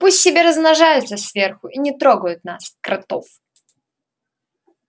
пусть себе размножаются сверху и не трогают нас кротов